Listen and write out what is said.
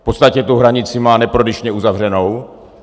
V podstatě tu hranici má neprodyšně uzavřenou.